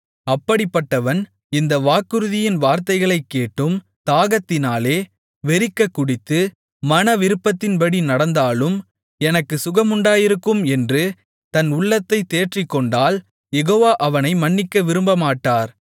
அப்படிப்பட்டவன் இந்த வாக்குறுதியின் வார்த்தைகளைக் கேட்டும் தாகத்தினாலே வெறிக்கக் குடித்து மன விருப்பத்தின்டி நடந்தாலும் எனக்குச் சுகமுண்டாயிருக்கும் என்று தன் உள்ளத்தைத் தேற்றிக்கொண்டால் யெகோவா அவனை மன்னிக்க விரும்பமாட்டார்